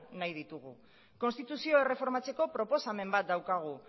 nahi ditugu konstituzio erreformatzeko proposamen bat daukagu